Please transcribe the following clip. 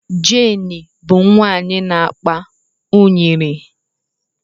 Jane bụ nwanyị na akpa unyiri.